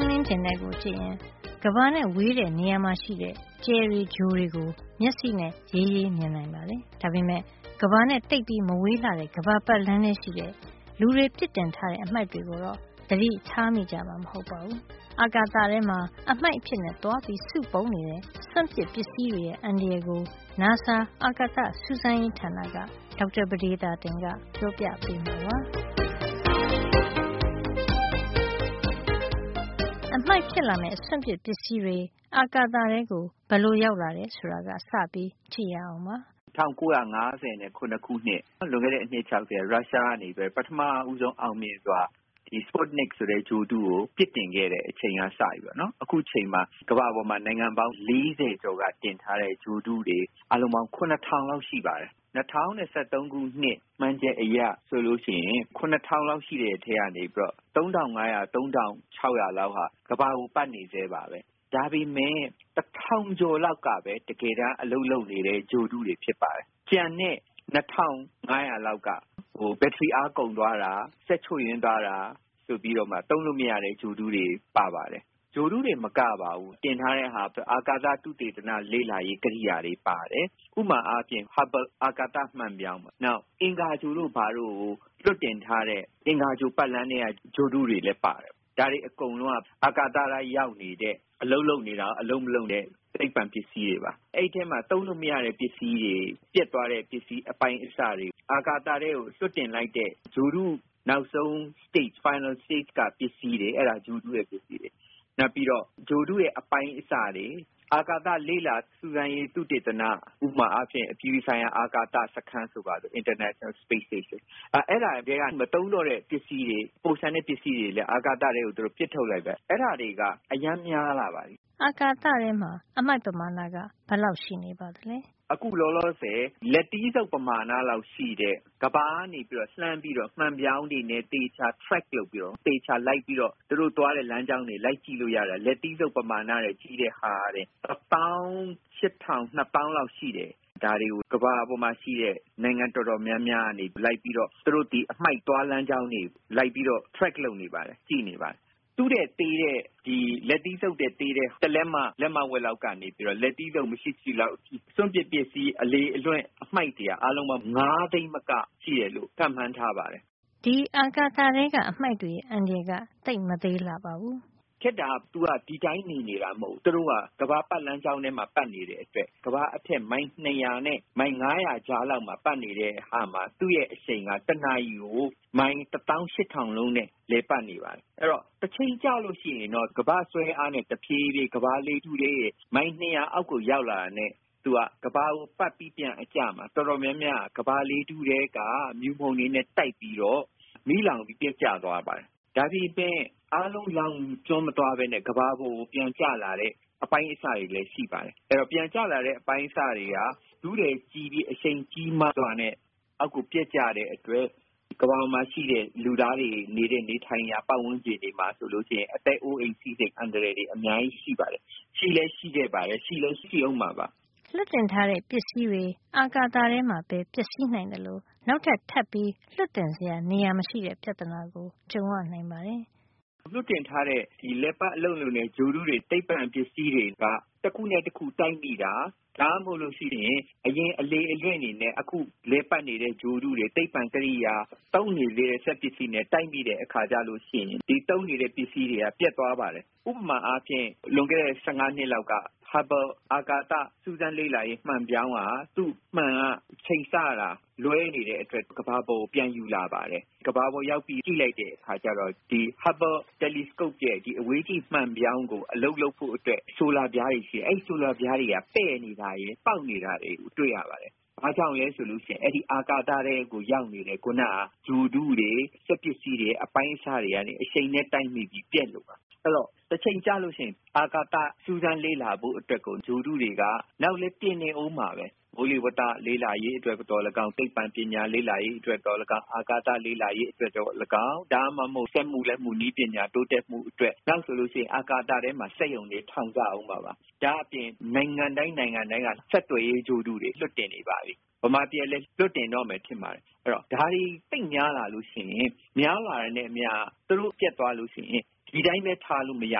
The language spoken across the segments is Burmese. င်းလင်းပြင်ထဲကိုကြည့်ရင် ကမ္ဘာနဲ့ဝေးတဲ့ နေရာမှာရှိတဲ့ ကြယ်တွေ ဂြိုဟ်တွေကို မျက်စိနဲ့ ရေးရေးမြင်နိုင်ပါတယ်။ ဒါပေမယ့် ကမ္ဘာနဲ့သိပ်မဝေးတဲ့ ကမ္ဘာပတ်လမ်းထဲမှာရှိတဲ့ လူတွေပစ်တင်ထားတဲ့ အမှိုက်တွေကိုတော့ သတိထားမိကြမှာ မဟုတ်ပါဘူး။ အာကာသထဲမှာ အမှိုက်အဖြစ် သွားပြီးစုပုံနေတဲ့ စွန့်ပစ်ပစ္စည်းတွေရဲ့ အန္တရာယ်ကို နာဆာ အာကာသစူးစမ်းရေးဌာနက ဒေါက်တာပဒေသာတင်က ပြောပြပေးမှာပါ။ အမှိုက်ဖြစ်လာမယ့် စွန့်ပစ်ပစ္စည်းတွေ အာကာသထဲ ဘယ်လိုရောက်လာတယ်ဆိုတာက စပြီး ကြည့်ရအောင်ပါ။ “၁၉၅၇ ခုနှစ် လွန်ခဲ့တဲ့ အနှစ် ၆၀ လောက်က ရုရှားကနေပြီးတော့ ပထမဦးဆုံး အောင်မြင်စွာ sputnik ဆိုတဲ့ ဂြိုဟ်တုကို ပစ်တင်ခဲ့တယ်။ အဲ့ဒီ အချိန်ကစပြီး ကမ္ဘာပေါ်က နိုင်ငံပေါင်း ၄၀ ကျော်ကနေ တင်ထားတဲ့ ဂြိုဟ်တုတွေ အားလုံးပေါင်း ၇ ထောင်လောက် ရှိပါတယ်။ ၂၀၁၃ ခုနှစ် ခန့်မှန်းချက်အရဆို ၇၀၀၀ လောက်ရှိတဲ့အထဲက ၃၅၀၀- ၃၆၀၀ လောက်က ကမ္ဘာကိုပတ်နေဆဲပါ။ ဒါပေမယ့် တထောင်ကျော်လောက်ကပဲ တကယ်တမ်း အလုပ်လုပ် နေတဲ့ ဂြိုဟ်တုတွေ ဖြစ်ပါတယ်။ ကျန်တဲ့ ၂၅၀၀ လောက်က ဘက်ထရီအားကုန်သွားတာ၊ စက်ချို့ယွင်းသွားတာ လို သုံးလို့မရတဲ့ ဂြိုဟ်တုတွေ ဖြစ်သွားပါတယ်။ ” “ဂြိုဟ်တုတင်မကပါဘူး၊ တင်ထားတာတွေက အာကာသလေ့လာရေး သုတေသန ကရိယာတွေ ပါပါတယ်။ ဥပမာအားဖြင့် Hubble အာကာသ မှန်ပြောင်း၊ နောက် အင်္ဂါဂြိုဟ်တို့ ဘာတို့ကို လွှတ်တင်ထားတဲ့ အင်္ဂါဂြိုဟ်ပတ်လမ်းထဲက ဂြိုဟ်တုတွေလည်း ပါတယ်။ ဒါတွေ အကုန်လုံးက အာကာသထဲ ရောက်နေတဲ့ အလုပ်လုပ်နေတာရော အလုပ်လုပ်မနေတဲ့ သိပ္ပံပစ္စည်းတွေပါ။ အဲဒီထဲမှာ သုံးလို့မရတဲ့ ပစ္စည်းတွေ၊ ပျက်သွားတဲ့ ပစ္စည်းတွေ၊ အပိုင်းအစတွေ၊ အာကာသထဲကို လွှတ်တင်လိုက်တဲ့ ဂြိုဟ်တုရဲ့ နောက်ဆုံးအဆင့် ပစ္စည်းတွေ၊ နောက် ဂြိုဟ်တု အပိုင်းအစတွေ၊ အာကာသလေ့လာ စူးစမ်းရေး သုတေသန၊ ဥပမာ အပြည်ပြည်ဆိုင်ရာ အာကာသစခန်း International Space Station က မသုံးတော့တဲ့ ပစ္စည်းတွေ၊ ပိုလျှံတဲ့ ပစ္စည်းတွေကို အာကာသထဲ ပစ်ထုတ်လိုက်တယ်။ အဲဒါတွေက အရမ်းများလာပါတယ်။” အာကာသထဲမှာ အမှိုက်ပမာဏက ဘယ်လောက်ရှိ နေပါသလဲ။ “အခုလောလောဆယ် လက်သီးဆုပ်ပမာဏလောက် ရှိတဲ့ ကမ္ဘာကနေပြီးတော့ လှမ်း ပြီးတော့ မှန်ပြောင်းတွေနဲ့ သေချာ track လုပ်ပြီးတော့ သူတို့သွားတဲ့ လမ်းကြောင်းတွေ သေချာလိုက်ကြည့် လို့ ရတဲ့ဟာ၊ လက်သီးဆုပ်ပမာဏ ထက်ကြီးတဲ့ဟာကတင် တသောင်း ရှစ်ထောင်၊ ၂ သောင်းလောက် ရှိတယ်။ ဒါကို ကမ္ဘာ့ပေါ်က နိုင်ငံတော်တော်များများကနေ လိုက်ပြီး သူတို့ အမှိုက်သွားလမ်းကို လိုက်ပြီး track လုပ် နောက်ယောင်ခံ လိုက်ကြည့်နေပါတယ်။ လက်သီးဆုပ်ထက် သေးတဲ့ တလက်မ လက်မဝက်လောက်ကနေ လက်သီးဆုပ်လောက်ရှိတဲ့ စွန့်ပစ် ပစ္စည်း အလေအလွင့် အမှိုက်တွေက အားလုံးပေါင်း ၅ သိန်း မက ရှိမယ်လို့ ခန့်မှန်းထားပါတယ်။ ” ဒီအာကာသ ထဲက အမှိုက်တွေရဲ့ အန္တရာယ်က သိပ်မသေးလှပါဘူး။ “ခက်တာက သူတို့က ဒီအတိုင်း နေတာ မဟုတ်ဖူး။ သူတို့က ကမ္ဘာပတ်လမ်းကြောင်းထဲမှာ ပတ်နေတဲ့အတွက် ကမ္ဘာအထက် မိုင် ၂၀၀ နဲ့ ၅၀၀ ကြားလောက်မှာ ပတ်နေတဲ့အခါမှာ သူ့ရဲ့ အရှိန်က တနာရီကို မိုင် တသောင်းရှစ်ထောင်နှုန်းနဲ့ လည်ပတ်နေပါတယ်။ ဆိုတော့ တချိန်ကျလို့ ရှိရင်တော့ ကမ္ဘာ့ဆွဲအားနဲ့ တဖြေးဖြေး ကမ္ဘာ့လေထုထဲရဲ့ မိုင် ၂၀၀ အောက်ကို ရောက်လာတာနဲ့ သူက ကမ္ဘာကို ပတ်ပြီး ပြန်အကျမှာ အတော်များများက ကမ္ဘာလေထုထဲက မြူမှုန်တွေနဲ့ တိုက်ပြီးတော့ မီးလောင်ပြီး ပျက်ကျ သွားပါတယ်။ ဒါပေမယ့် အားလုံး လောင်ကျွမ်းမသွား ပဲနဲ့ ကမ္ဘာကို ပြန်ကျလာတဲ့ အပိုင်းအစလေးတွေ ရှိပါတယ်။ အဲဒီတော့ ပြန်ကျလာတဲ့ အပိုင်းအစတွေက ထုတည် ကြီးပြီး အရှိန်ကြီးမားစွာနဲ့ အောက်ကို ပျက်ကျတဲ့အတွက် ကမ္ဘာပေါ်က လူသားတွေနေထိုင်ရာ ဝန်းကျင်မှာ အသက်အိုးအိမ် အတွက် အန္တရာယ် အများကြီး ရှိပါတယ်။ ရှိလည်းရှိခဲ့ပါတယ်။ ရှိလည်း ရှိအုံးမှာပါ။” လွှတ်တင်ထားတဲ့ ပစ္စည်းတွေ အာကာသထဲမှာပဲ ပျက်စီးနိုင်သလို နောက်ထပ် ထပ်ပြီး လွှတ်တင်စရာ နေရာ မရှိတဲ့ ပြဿနာ ကြုံရနိုင်ပါတယ်။ “လွှတ်တင်ထားတဲ့ ဒီ လည်ပတ် အလုပ်လုပ်တဲ့ ဂြိုဟ်တုတွေ၊ ဒီသိပ္ပံပစ္စည်းတွေဟာ တခုနဲ့တခု တိုက်မိတာ၊ ဒါမှမဟုတ် အရင် အလေအလွင့် တွေနဲ့ အခု လည်ပတ်နေတဲ့ ဂြိုဟ်တုတွေ၊ သိပ္ပံကရိယာ၊ သုံးနေသေးတဲ့ စက်ပစ္စည်းတွေ နဲ့ တိုက်မိတဲ့ အခါကျလို့ ရှိရင် ဒီသုံးနေတဲ့ ပစ္စည်းတွေက ပျက်သွားပါတယ်။ ဥပမာ အားဖြင့် လွန်ခဲ့တဲ့ ၁၅ နှစ်လောက်က Hubble အာကာသ စူးစမ်းလေ့လာရေး မှန်ပြောင်းမှာ သူ့မှန်က အချိန်အဆက လွဲနေတဲ့ အတွက် ကမ္ဘာပေါ်ကို ပြန်ယူလာပါတယ်။ ကမ္ဘာကို ရောက်ပြီး ကြည့်လိုက်တဲ့ အခါကျတော့ အဲဒီမှာ Hubble telescope ရဲ့ အဝေးကြည့်မှန်ပြောင်းကို အလုပ်လုပ်ဖို့အတွက် ဆိုလာပြားတွေ ရှိတယ်။ အဲဒီ ဆိုလာပြားတွေက ပဲ့နေတာတွေ ပေါက်နေတာတွေ တွေ့ရပါတယ်။ ဘာကြောင့်လည်း ဆိုရင် အဲဒီ အာကာသထဲကို ရောက်နေတဲ့ ခုနက ဂြိုဟ်တုတွေ၊ စက်ပစ္စည်းတွေ၊ အပိုင်းအစတွေကနေ အရှိန်နဲ့ တိုက်မိပြီး ပျက်ကုန်တာ။” “အဲဒီတော့ တချိန်ကျလို့ရှိရင် အာကာသ စူးစမ်းလေ့လာရေး လုပ်ဖို့ အတွက် ဂြိုဟ်တုတွေက နောင်လည်း တင်နေအုံးမှာပဲ။ မိုးလေဝဿ လေ့လာရေး အတွက် သော်လည်းကောင်း၊ သိပ္ပံပညာ လေ့လာရေးအတွက်၊ အာကာသ လေ့လာရေးအတွက် ဒါမှမဟုတ် စက်မှု လက်မှု နည်းပညာ တိုးတက်ဖို့အတွက်၊ နောက်ဆိုရင် အာကာသထဲမှာ စက်ရုံတွေ ထောင်ကြအုံးမှာပါ။ ဒါ့အပြင် နိုင်ငံတိုင်း နိုင်ငံတိုင်းက ဆက်သွယ်ရေး ဂြိုဟ်တုတွေကို လွှတ်တင်နေပါပြီ၊ မြန်မာပြည်ကလည်း လွှတ်တင်တော့မယ် ထင်ပါတယ်။ အဲဒီတော့ ဒါတွေ သိပ်များလာ လို့ ရှိရင် များလာတာနဲ့ အမျှ သူတို့ပျက်သွား လို့ရှိရင် ဒီအတိုင်းပဲ ထားလို့ မရ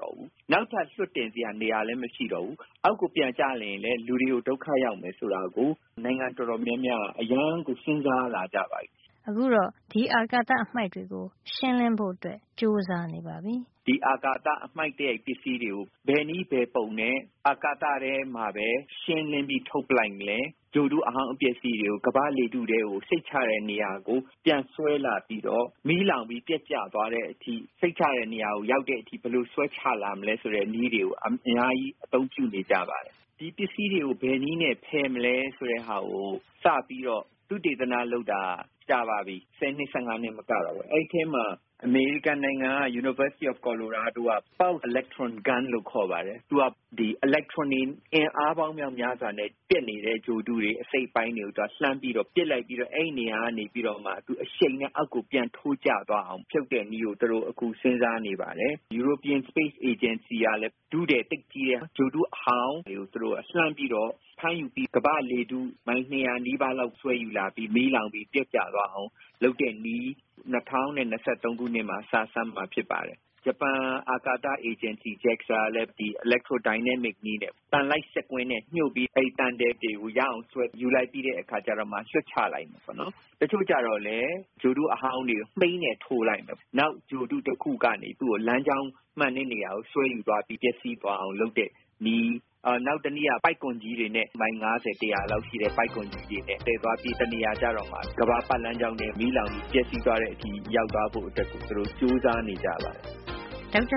တော့ဘူး။ နောက်ထပ်လွှတ်တင် စရာ နေရာလည်း မရှိတော့ဘူး။ အောက်ကို ပြန်ကျရင်လည်း လူတွေအတွက် ဒုက္ခရောက်မယ် ဆိုတာကို နိုင်ငံတော်တော် များများက အရမ်း စဉ်းစား လာကြပါပြီ။” အခုတော့ ဒီအာကာသ အမှိုက်တွေကို ရှင်းလင်းဖို့ ကြိုးစားနေပါပြီ “ဒီအာကာသ အမှိုက်သရိုက် ပစ္စည်းတွေကို ဘယ်နည်းဘယ်ပုံနဲ့ အာကာသထဲ မှာပဲ ရှင်းလင်းပြီး ထုတ်ပစ်လိုက်မလဲ၊ ဂြိုဟ်တု အဟောင်းအပျက် ပစ္စည်းတွေကို ကမ္ဘာ့ လေထုထဲကို စိတ်ချရတဲ့ နေရာကို ပြန်ဆွဲလာပြီးတော့ မီးလောင်ပြီး ပျက်ကျသွားတဲ့အထိ စိတ်ချရတဲ့ နေရာကို ရောက်တဲ့အထိ ဘယ်လို ဆွဲချရမလဲ၊ ဆိုတဲ့ နည်းတွေကို အများကြီး အသုံးပြုနေကြပါပြီ။” “ဒီပစ္စည်းတွေကို ဘယ်နည်းနဲ့ ဖယ်မလဲ။ ဆိုတာကို စပြီးတော့ သုတေသန လုပ်တာက ကြာပါပြီ။ ဆယ်နှစ် ၁၅ နှစ် မကတော့ပါဘူး။ အဲဒီထဲမှာ အမေရိကန်နိုင်ငံက University of Colorado က လုပ်တာက Pulsed Electron Gun လို့ခေါ်ပါတယ်။ သူက အီလက်ထရွန်တွေ အင်အားပေါင်း မြောက်များစွာနဲ့ ပျက်နေတဲ့ ဂြိုဟ်တုတွေ အစိတ်အပိုင်းတွေကို သူကလှမ်းပြီးတော့ ပစ်လိုက်ပြီးတော့ အဲဒီနေရာကနေပြီးတော့မှ အရှိန်နဲ့ အောက်ကို ပြန်ထိုးကျသွားအောင် ဖြုတ်တဲ့နည်းကို သူတို့အခု စဉ်းစားနေပါတယ်။” “ဥရောပအာကာသစူးစမ်းရေးအဖွဲ့ ကလည်း ထုထည် သိပ်ကြီးတဲ့ ဂြိုဟ်တု အဟောင်းတွေကို သူတို့ လှမ်းပြီးတော့ ဖမ်းယူပြီးတော့ ကမ္ဘာ့လေထု မိုင် ၂၀၀ နီးပါးလောက်ကို ဆွဲယူလာပြီး မီးလောင်ပြီး ပျက်ကျသွားအောင် လုပ် တဲ့နည်း ၂၀၂၃ ခုနှစ်မှာ စမ်းသပ်မှာ ဖြစ်ပါတယ်။ ဂျပန်အာကာသအေဂျင်စီ JAXA ကလည်း အီလက်ထရို ဒိုင်နမစ်နည်းနဲ့ သံလိုက်စက်ကွင်း နဲ့ ညှို့ပြီး အဲဒီသံထည် တွေကိုဆွဲယူ လိုက်ပြီးတဲ့အခါကျတော့မှ လွှတ်ချတာမျိုး၊ တချို့ကျတော့လည်း ဂြိုဟ်တု အဟောင်းတွေကို မှိန်းနဲ့ ထိုးလိုက်မယ်။ နောက် ဂြိုဟ်တု တခုကနေ သူ့ကို လမ်းကြောင်းမှန်တဲ့ နေရာကို ဆွဲယူသွားပြီး ပျက်စီး သွားအောင် လုပ်တဲ့နည်း၊ နောက်တနည်းက ပိုက်ကွန်ကြီးတွေနဲ့ မိုင် ၅၀ - တရာလောက် ရှိတဲ့ ပိုက်ကွန်ကြီးတွေနဲ့ သယ်သွားပြီး တနေရာ ကျတော့မှ ကမ္ဘာပတ်လမ်းကြောင်းထဲ မီးလောင်ပြီး ပျက်စီး သွားဖို့ အတွက်ကို ကြိုးစားနေကြပါတယ်။” ဒေါက်တာပ